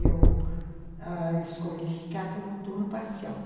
Eu, ãh, escolhi ficar com o turno parcial.